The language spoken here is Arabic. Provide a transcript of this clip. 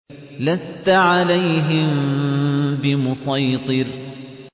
لَّسْتَ عَلَيْهِم بِمُصَيْطِرٍ